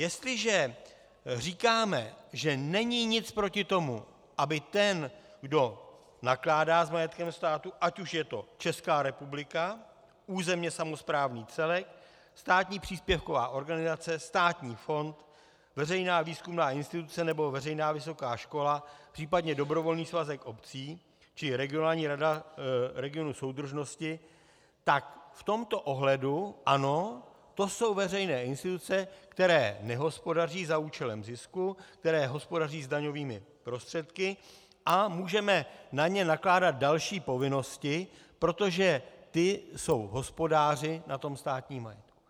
Jestliže říkáme, že není nic proti tomu, aby ten, kdo nakládá s majetkem státu, ať už je to Česká republika, územně samosprávný celek, státní příspěvková organizace, státní fond, veřejná výzkumná instituce nebo veřejná vysoká škola, případně dobrovolný svazek obcí či regionální rada regionu soudržnosti, tak v tomto ohledu ano, to jsou veřejné instituce, které nehospodaří za účelem zisku, které hospodaří s daňovými prostředky, a můžeme na ně nakládat další povinnosti, protože ty jsou hospodáři na tom státním majetku.